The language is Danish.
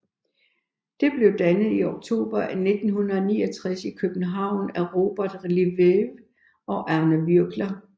Det blev dannet i oktober 1969 i København af Robert Lelièvre og Arne Würgler